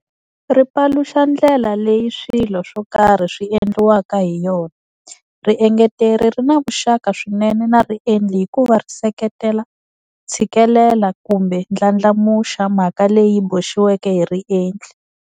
Ri paluxa ndlela leyi swilo swo karhi swi endliwaka hi yona. Riengeteri ri na vuxaka swinene na riendli hikuva ri seketela, tshikelela kumbe ndlandlamuxa mhaka leyi boxiweke hi riendli.